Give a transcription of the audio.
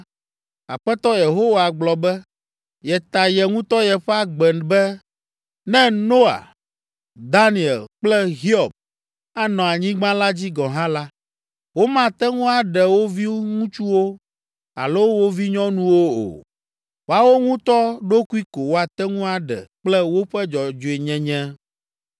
Aƒetɔ Yehowa gblɔ be, yeta ye ŋutɔ yeƒe agbe be, ne Noa, Daniel kple Hiob anɔ anyigba la dzi gɔ̃ hã la, womate ŋu aɖe wo viŋutsuwo alo wo vinyɔnuwo o. Woawo ŋutɔ ɖokui ko woate ŋu aɖe kple woƒe dzɔdzɔenyenye.